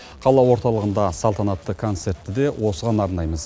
қала орталығында салтанатты концертті де осыған арнаймыз